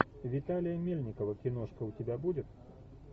виталия мельникова киношка у тебя будет